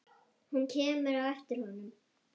Hún kemur á eftir honum.